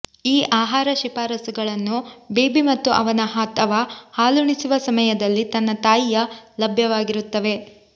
ಈ ಆಹಾರ ಶಿಫಾರಸುಗಳನ್ನು ಬೇಬಿ ಮತ್ತು ಅವನ ಅಥವಾ ಹಾಲುಣಿಸುವ ಸಮಯದಲ್ಲಿ ತನ್ನ ತಾಯಿಯ ಲಭ್ಯವಾಗಿರುತ್ತವೆ